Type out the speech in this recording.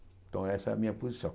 Então essa é a minha posição.